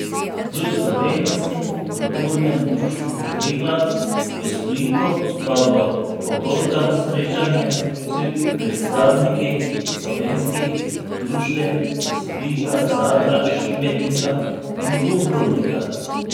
V Slovenskem kulturnem društvo Triglav v Splitu pa bo popoldan srečanje s predstavniki slovenskih društev iz Splita, Zadra, Šibenika in Dubrovnika.